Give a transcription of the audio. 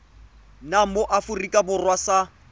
nna mo aforika borwa sa